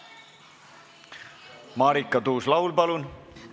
Marika Tuus-Laul, palun!